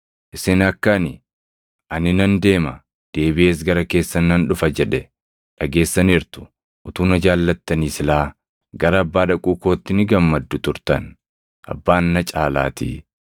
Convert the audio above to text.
“Isin akka ani, ‘Ani nan deema; deebiʼees gara keessan nan dhufa’ jedhe dhageessaniirtu. Utuu na jaallattanii silaa gara Abbaa dhaquu kootti ni gammaddu turtan; Abbaan na caalaatii.